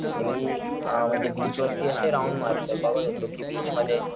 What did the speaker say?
अ म्हणजे मी बीच वरती असे राउंड मारतोय बघत होतो कि बीच मध्ये,